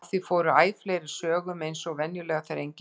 Af því fór æ fleiri sögum eins og venjulega þegar enginn veit neitt.